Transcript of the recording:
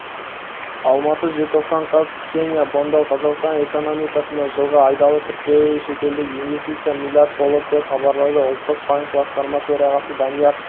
алматы желтоқсан қаз ксения бондал қазақстан экономикасына жылғы айдағы тікелей шетелдік инвестиция млрд болды деп хабарлады ұлттық банк басқарма төрағасы данияр